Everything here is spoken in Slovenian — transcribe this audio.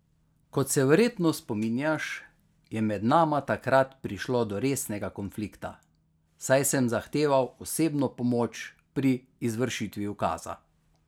Kot se verjetno spominjaš, je med nama takrat prišlo do resnega konflikta, saj sem zahteval osebno pomoč pri izvršitvi ukaza.